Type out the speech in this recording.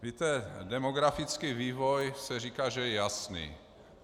Víte, demografický vývoj - říká se, že je jasný.